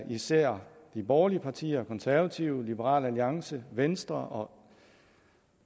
især de borgerlige partier konservative liberal alliance og venstre